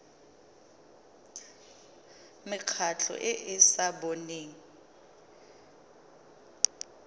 mekgatlho e e sa boneng